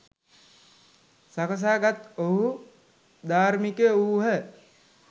සකසා ගත් ඔවුහු ධාර්මිකයෝ වූහ.